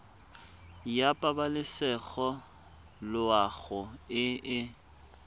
ya pabalesego loago e e